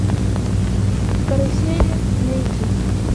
карусели найди